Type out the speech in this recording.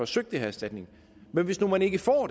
søge den erstatning men hvis nu man ikke får